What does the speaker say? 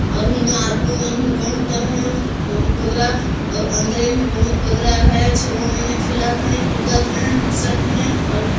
और इमा आदमी मन ह बंता हैं बहुत बगरा और अंदेर मे बहुत बगरा हैं छुआ मन खेलत हैं कुदत हैं हसत हैं और--